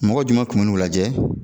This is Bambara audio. Mɔgɔ jumɛn kun bu n'u lajɛ?